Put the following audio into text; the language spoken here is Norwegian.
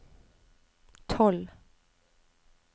tolv